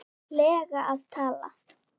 lega að tala?